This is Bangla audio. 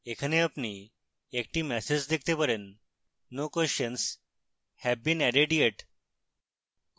এখানে আপনি একটি ম্যাসেজ দেখতে পারেনno questions have been added yet